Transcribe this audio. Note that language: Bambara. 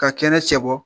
Ka kɛnɛ cɛ bɔ